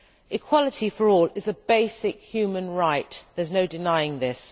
Equality for all is a basic human right there is no denying this.